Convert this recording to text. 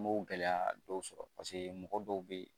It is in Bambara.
N m'o gɛlɛya dɔw sɔrɔ mɔgɔ dɔw be yen